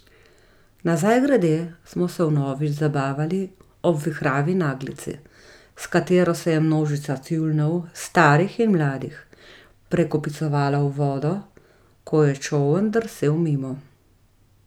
Nazaj grede smo se vnovič zabavali ob vihravi naglici, s katero se je množica tjulnjev, starih in mladih, prekopicevala v vodo, ko je čoln drsel mimo.